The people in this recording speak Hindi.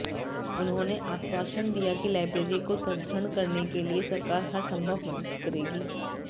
उन्होंने आश्वासन दिया कि लाइब्रेरी को सुदृढ़ करने के लिए सरकार हर संभव मदद करेगी